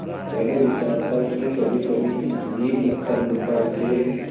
पहले विचार था कि कभीकभी इस दीपस्तंभ पर से